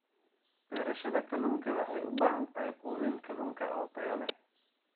Beerashada kalluunka waxay u baahan tahay quudin kalluunka oo tayo leh.